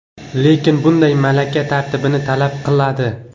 Lekin bunday malaka tartibni talab qiladi.